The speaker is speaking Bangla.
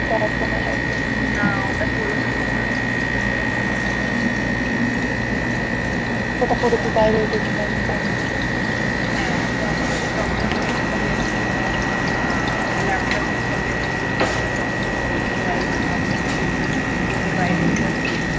হ্যাঁ তো আমাকে যে doctor বলেছে, খালি যখন তো নেই আহ laptop বাগেরা use করবে তখন করতে চাই, মা বলছে তুই থোরি এটা পড়ে বাইরে যাবি